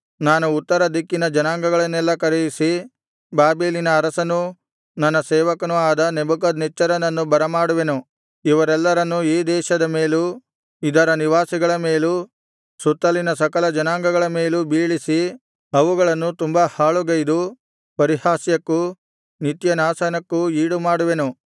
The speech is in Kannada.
ನಾನು ಉತ್ತರ ದಿಕ್ಕಿನ ಜನಾಂಗಗಳನ್ನೆಲ್ಲಾ ಕರೆಯಿಸಿ ಬಾಬೆಲಿನ ಅರಸನೂ ನನ್ನ ಸೇವಕನೂ ಆದ ನೆಬೂಕದ್ನೆಚ್ಚರನನ್ನು ಬರಮಾಡುವೆನು ಇವರೆಲ್ಲರನ್ನು ಈ ದೇಶದ ಮೇಲೂ ಇದರ ನಿವಾಸಿಗಳ ಮೇಲೂ ಸುತ್ತಲಿನ ಸಕಲ ಜನಾಂಗಗಳ ಮೇಲೂ ಬೀಳಿಸಿ ಅವುಗಳನ್ನು ತುಂಬಾ ಹಾಳುಗೈದು ಪರಿಹಾಸ್ಯಕ್ಕೂ ನಿತ್ಯನಾಶನಕ್ಕೂ ಈಡುಮಾಡುವೆನು